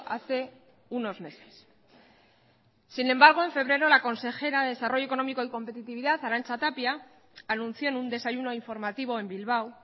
hace unos meses sin embargo en febrero la consejera de desarrollo económico y competitividad arantza tapia anunció en un desayuno informativo en bilbao